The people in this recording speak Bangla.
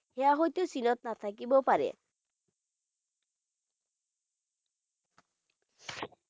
সেইয়া হয়তো চীনত নাথাকিবও পাৰে